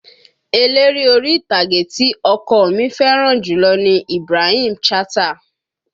Eléré orí ìtàgé tí ọkọ ọ mi fẹ́ràn jùlọ ni Ibrahim Chatta